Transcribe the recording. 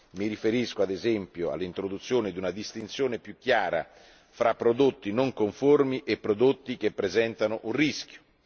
Mi riferisco, ad esempio, all'introduzione di una distinzione più chiara fra prodotti non conformi e prodotti che presentano un rischio.